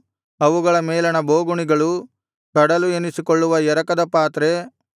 ಅವುಗಳ ಮೇಲಣ ಬೋಗುಣಿಗಳು ಕಡಲು ಎನಿಸಿಕೊಳ್ಳುವ ಎರಕದ ಪಾತ್ರೆ